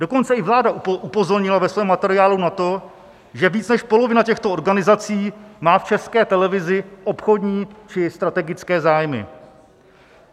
Dokonce i vláda upozornila ve svém materiálu na to, že více než polovina těchto organizací má v České televizi obchodní či strategické zájmy.